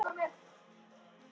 Mér þykir það mjög miður.